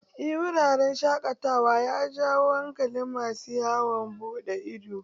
Eh wuraren shaƙatawa ya jawo hankalin masu yawon buɗe ido